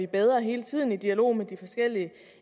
bedre hele tiden i dialog med de forskellige